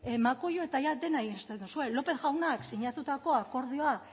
makulu eta jada dena irensten duzue lópez jaunak sinatutako akordioa